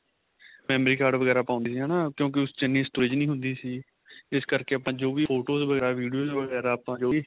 memory card ਵਗੈਰਾ ਪਾਂਦੇ ਸੀ ਹਨਾ ਕਿਉਂਕਿ ਉਸ ਚ ਇੰਨੀ storage ਨਹੀਂ ਹੁੰਦੀ ਸੀ ਇਸ ਕਰਕੇ ਆਪਾਂ ਜੋ ਵੀ photos ਵਗੈਰਾ videos ਵਗੈਰਾ ਆਪਾਂ ਜੋ ਵੀ